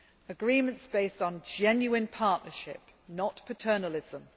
ACP agreements based on genuine partnership, not paternalism